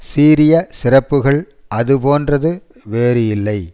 சீரிய சிறப்புகளுள் அது போன்றது வேறு இல்லை